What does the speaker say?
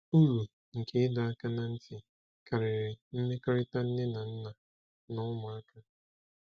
Uru nke ịdọ aka ná ntị karịrị mmekọrịta nne na nna na ụmụaka.